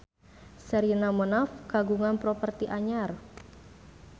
Sherina Munaf kagungan properti anyar